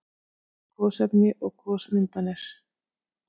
Gosefni og gosmyndanir